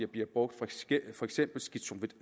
bliver brugt for eksempel